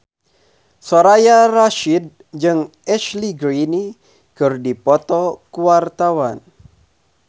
Soraya Rasyid jeung Ashley Greene keur dipoto ku wartawan